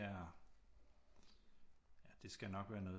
Er det skal nok være noget